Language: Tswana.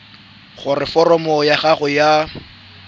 gore foromo ya gago ya